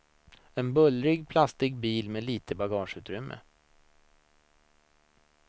En bullrig plastig bil med litet bagageutrymme.